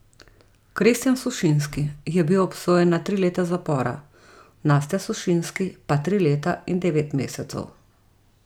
Kristjan Sušinski je bil obsojen na tri leta zapora, Nastja Sušinski pa tri leta in devet mesecev.